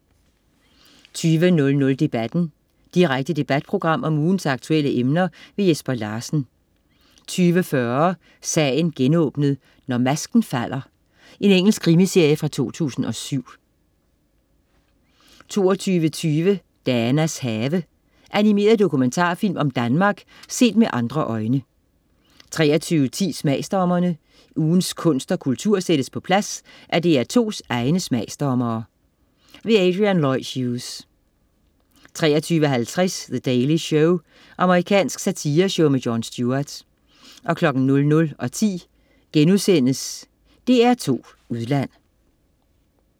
20.00 Debatten. Direkte debatprogram om ugens aktuelle emner. Jesper Larsen 20.40 Sagen genåbnet: Når masken falder. Engelsk krimiserie fra 2007 22.20 Danas Have. Animeret dokumentarfilm om Danmark, set med andre øjne 23.10 Smagsdommerne. Ugens kunst og kultur sættes på plads af DR2's egne smagsdommere. Adrian Lloyd Hughes 23.50 The Daily Show. Amerikansk satireshow med Jon Stewart 00.10 DR2 Udland*